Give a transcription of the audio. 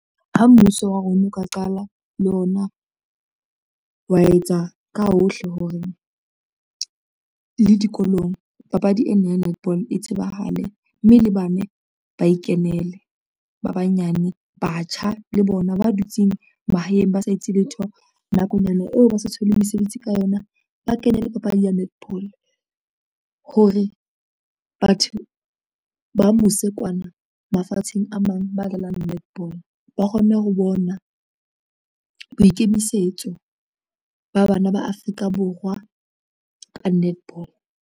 Ha mmuso wa rona o ka qala le ona, wa etsa ka hohle hore le dikolong papadi ena ya netball e tsebahale, mme le bane ba e kenele ba banyane, batjha le bona ba dutseng mahaeng ba sa etse letho nakonyana eo ba sa thole mesebetsi ka yona, ba kene le papadi ya netball hore, batho ba mose kwana mafatsheng a mang ba dlalang netball ba kgone ho bona boikemisetso ba bana ba Afrika Borwa ka netball.